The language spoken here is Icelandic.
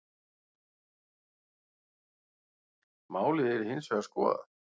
Málið yrði hins vegar skoðað.